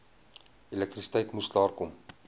elektrisiteit moes klaarkom